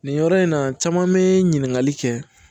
Nin yɔrɔ in na caman be ɲininkali kɛ